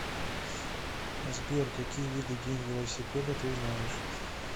сбер какие виды день велосипеда ты знаешь